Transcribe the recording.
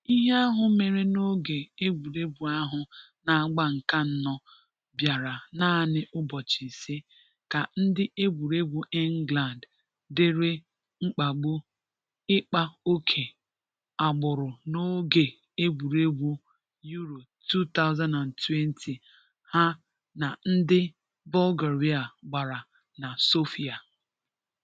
Ihe ahụ mere n'oge egwuregwu ahụ n'agba nke anọ bịara naanị ụbọchị ise ka ndị egwuregwu England dìrì mkpagbu ịkpa oke agbụrụ n'oge egwuregwu Euro 2020 ha na ndị Bulgaria gbara na Sofia